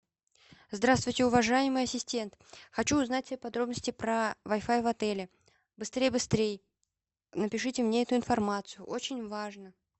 здравствуйте уважаемый ассистент хочу узнать все подробности про вай фай в отеле быстрей быстрей напишите мне эту информацию очень важно